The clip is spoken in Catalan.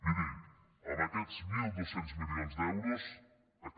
miri amb aquests mil dos cents milions d’euros aquest